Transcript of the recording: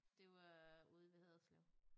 Det var ude ved Haderslev